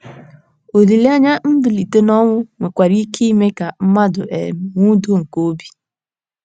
Olileanya mbilite n’ọnwụ nwekwara ike ime ka mmadụ um nwee udo nke obi.